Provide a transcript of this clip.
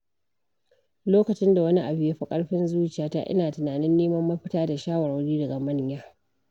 Lokacin da wani abu ya fi ƙarfin zuciyata, ina tunanin neman mafita da shawarwari daga manya.